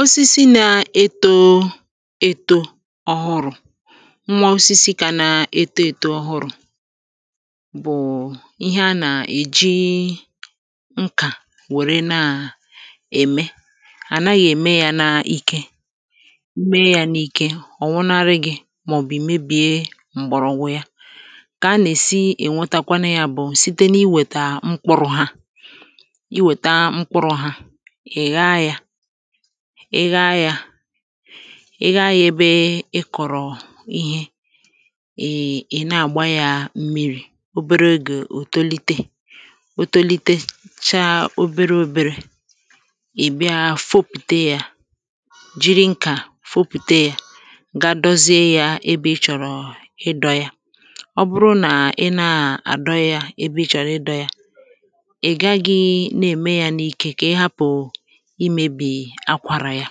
osisi na-eto etȯ ọhụrụ̇ nwa osisi kà na-eto etȯ ọhụrụ̇ bụ̀ ihe a nà-èji nkà wère na à ème à naghị̇ ème ya na ikė mee ya n’ike ọ̀ nwụnarị gị̇ màọ̀bụ̀ meebìe m̀gbọ̀rọ̀wụ ya kà a nà-èsi ènwetakwanụ ya bụ̀ site n’iwètà mkpụrụ̇ hȧ ị ghaa ya ị ghaa ya ebe ị kọ̀rọ̀ ihe ị ị na-àgba ya mmi̇ri̇ obere egì òtolite òtolite chaa oberė oberė ị̀ bịa fopùte ya jiri nkà fopùte ya ga dozie ya ebe ị chọ̀rọ̀ ịdọ ya ọ bụrụ nà ị na-àdọ ya ebe ị chọ̀rọ̀ ịdọ ya imėbì akwàrà ya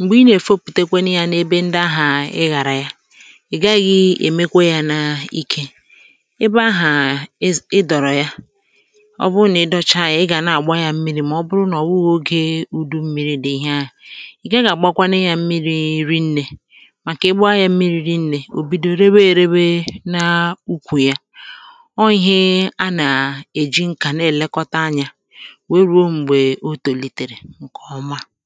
m̀gbè ị nà-èfopùtekwanụ yȧ n’ebe ndị ahà ị ghàrà ya ị̀ gaghị̇ èmekwa yȧ n’ike ebe ahà ịdọ̀rọ̀ ya ọ bụrụ nà ị dọcha ya ị gà nà-àgba yȧ mmiri̇ mà ọ bụrụ nà ọ̀ wụọ ogė ùdu mmiri̇ dị̀ ihe ahụ̀ ị̀ gà-àgbakwanụ ya mmiri nnė màkà ebe ahụ̀ ya mmiri nnė ò bido rewe èrewe nà ukwù ya ọ ihe a nà-èji nkà na-èlekọta anyȧ ihe ọ̀mà ihe ọ̀mà àkpịsịsịsịs ifẹ ọ̀tutu nàà gbakwunyere ịkụ̀ màkà ọ̀tutu